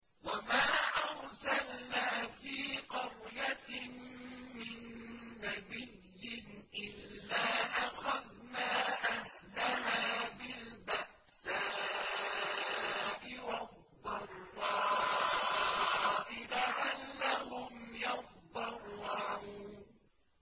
وَمَا أَرْسَلْنَا فِي قَرْيَةٍ مِّن نَّبِيٍّ إِلَّا أَخَذْنَا أَهْلَهَا بِالْبَأْسَاءِ وَالضَّرَّاءِ لَعَلَّهُمْ يَضَّرَّعُونَ